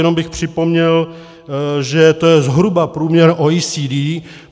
Jenom bych připomněl, že to je zhruba průměr OECD.